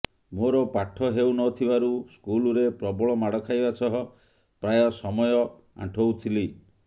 ମୋର ପାଠ ହେଉ ନଥିବାରୁ ସ୍କୁଲରେ ପ୍ରବଳ ମାଡ଼ ଖାଇବା ସହ ପ୍ରାୟ ସମୟ ଆଣ୍ଠଉଥିଲି